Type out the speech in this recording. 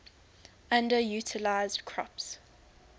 underutilized crops